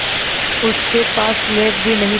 उसके पास स्लेट भी नहीं थी